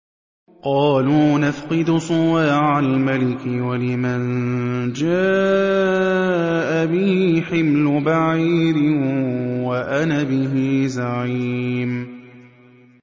قَالُوا نَفْقِدُ صُوَاعَ الْمَلِكِ وَلِمَن جَاءَ بِهِ حِمْلُ بَعِيرٍ وَأَنَا بِهِ زَعِيمٌ